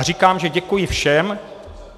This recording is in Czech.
A říkám, že děkuji všem.